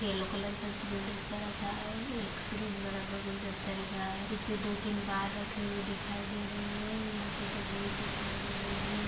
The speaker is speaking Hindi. येल्लो कलर का गुलदस्ता रखा हैं एक ग्रीन कलर का गुलदस्ता दिख रहा हैं इसमें दो तीन बहार रखे दिखाई दे रहे है यहाँ पे तस्वीर दिखाई दे रही हैं।